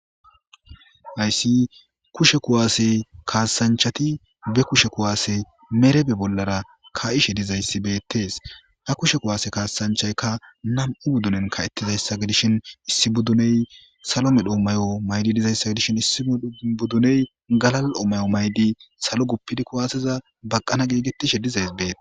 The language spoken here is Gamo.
hayssi kushe kuwaasey kaasanchati be kushe kuwaasey merebe bollara ka7ishe dizayssi beettees ha kushe kuwaase kaasanchaykka nam7u buddunen ka7ettizayssa gidishin issi budduney salo midhommayo maydi dizayssa gidishin issi budduney galal7omayo maydi salo guppidi kuwaaseza baqqana geegetishe dizays beet